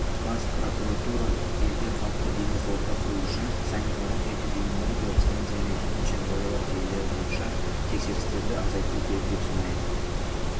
бас прокуратура елде қалыпты бизнес орта құру үшін санитарлық-эпидемиологиялық станция мен төтенше жағдайлар желілері бойынша тексерістерді азайту керек деп санайды